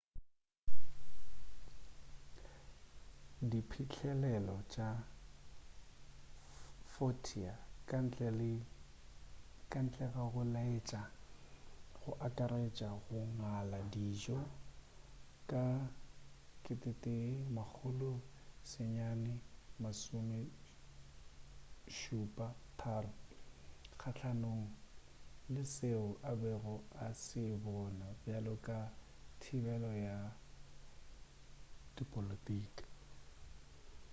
diphihlelelo tša vautier kantle ga go laetša go akaretša go ngala dijo ka 1973 kgahlanong le seo a bego a se bona bjalo ka thibelo ya dipolotiki